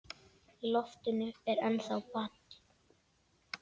Í loftinu er ennþá ball.